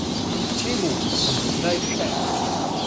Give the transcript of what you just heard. Čemu in do kdaj še?